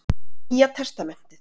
Nýja testamentið.